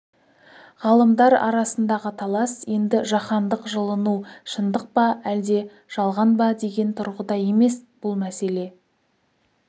ғалымдар арасындағы талас енді жаһандық жылыну шындық па әлде жалған ба деген тұрғыда емес бұл мәселе